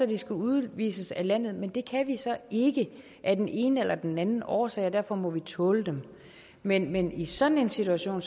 de skal udvises af landet men det kan vi ikke af den ene eller den anden årsag og derfor må vi tåle dem men men i sådan en situation